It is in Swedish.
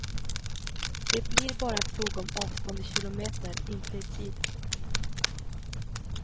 Det blir bara en fråga om avstånd i kilometer, inte i tid.